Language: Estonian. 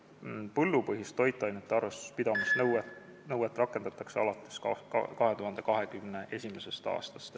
Põllupõhist toitainete arvestuse pidamise nõuet rakendatakse alates 2021. aastast.